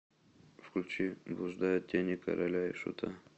включи блуждают тени короля и шута